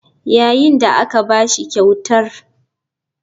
Yayin da aka ba shi kyautar.